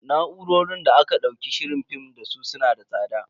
Na'urorin da aka daukar shirin film dasu su na da tsada.